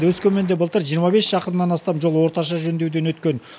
өскеменде былтыр жиырма бес шақырымнан астам жол орташа жөндеуден өткен